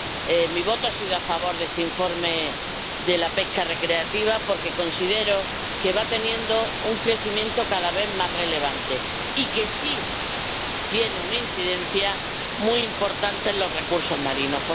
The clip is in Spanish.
He votado a favor de este informe sobre la pesca recreativa porque considero que va teniendo un crecimiento cada vez más relevante y que sí tiene una incidencia muy importante en los recursos marinos.